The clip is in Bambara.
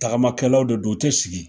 Tagama kɛlaw de don, u te sigi.